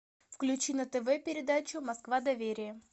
включи на тв передачу москва доверие